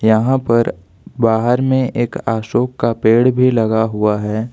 यहां पर बाहर में एक अशोक का पेड़ भी लगा हुआ है।